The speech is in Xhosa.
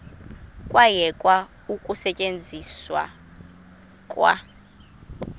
kwayekwa ukusetyenzwa kwa